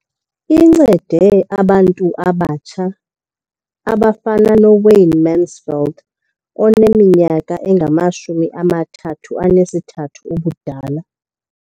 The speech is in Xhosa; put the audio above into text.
Incede abantu abatsha abafana noWayne Mansfield oneminyaka engama-33 ubudala.